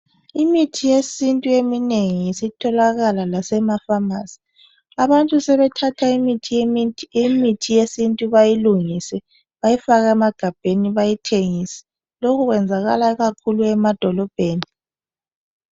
Imithi yesintu eminengi sitholakala lasema pharmacy. Abantu sebethatha imithi yesintu bayilungise bayifake emagabheni bayithengise lokhu kwenzakala ikakhulu emadolobheni